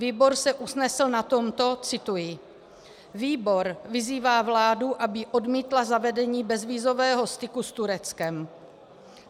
Výbor se usnesl na tomto - cituji: "Výbor vyzývá vládu, aby odmítla zavedení bezvízového styku s Tureckem."